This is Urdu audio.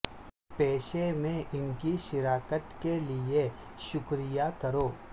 پیشے میں ان کی شراکت کے لئے شکریہ کرو